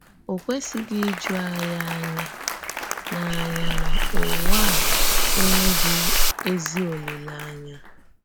Ò kwèsìghị íjù ànyí̀ ànyà na ànyà na ǔwà à ènwèḡhị èzí òlílèànyà.